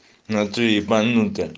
внатуре ебанутая